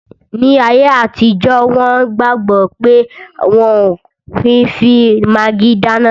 Ní ayé àtijọ́, wọn gbàgbọ̀ pé wọ́n ò kí n fi magí dáná